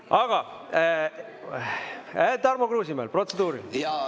Aga Tarmo Kruusimäel on protseduuriline.